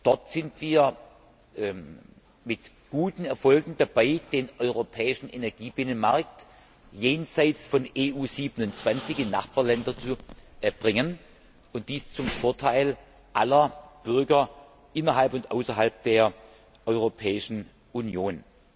Dort sind wir mit guten Erfolgen dabei, den europäischen Energiebinnenmarkt jenseits von EU 27 in Nachbarländer zu bringen, und dies zum Vorteil aller Bürger innerhalb und außerhalb der Europäischen Union.